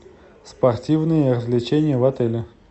спортивные развлечения в отеле